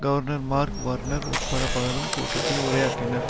governor Mark Warner உட்பட பலரும் கூட்டத்தில் உரையாற்றினர்